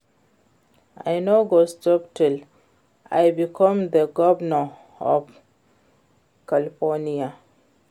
I no go stop till I become the governor of California